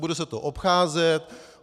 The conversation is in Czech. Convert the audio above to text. Bude se to obcházet.